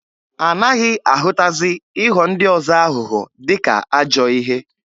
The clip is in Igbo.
Anaghị ahụtazi ịghọ ndị ọzọ aghụghọ dịka ajọọ ihe.